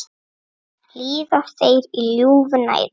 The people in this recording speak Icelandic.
Líða þeir í ljúfu næði.